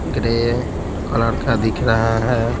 Grey colour का दिख रहा है।